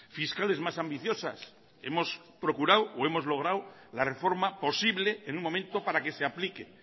fiscales más ambiciosas hemos procurado o hemos logrado la reforma posible en un momento para que se aplique